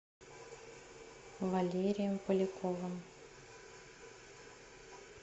валерием поляковым